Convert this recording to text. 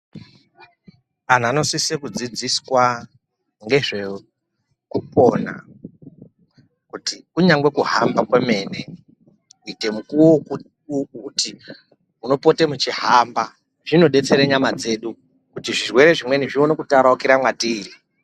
Antu anosisa kudzidziswa nezvekupona kuti kunyazi kuhamba kwemene kuita mukuwo wekuti unopota weihamba zvinodetsera nyama dzedu kuti zvirwere zvimweni zvione kutaraukira matiri.